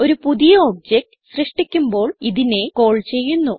ഒരു പുതിയ ഒബ്ജക്ട് സൃഷ്ടിക്കുമ്പോൾ ഇതിനെ കാൾ ചെയ്യുന്നു